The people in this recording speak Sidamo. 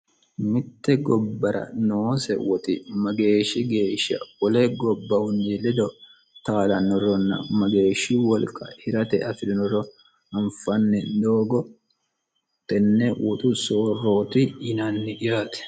mitte gobbara noose woxi mageeshshi geeshsha ole gobbahunni lido taalannorronna mageeshshi wolqa hirate afi'rinoro anfanni doogo tenne woxu soorrooti yinanni yaate